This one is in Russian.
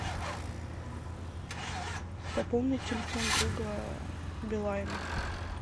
пополнить телефон друга билайн